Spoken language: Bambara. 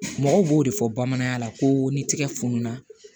Mɔgɔ b'o de fɔ bamanankan na ko ni tigɛ fununa